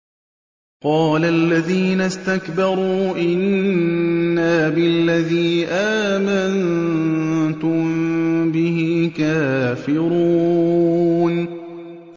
قَالَ الَّذِينَ اسْتَكْبَرُوا إِنَّا بِالَّذِي آمَنتُم بِهِ كَافِرُونَ